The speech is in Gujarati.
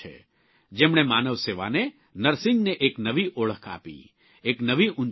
જેમણે માનવસેવાને નર્સિંગને એક નવી ઓળખ આપી એક નવી ઉંચાઇ બક્ષી